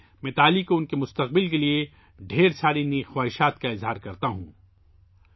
میں متالی کو ان کے مستقبل کے لئے ڈھیر ساری نیک خواہشات پیش کرتا ہوں